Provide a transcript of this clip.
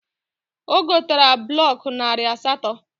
O gotara blọk narị asatọ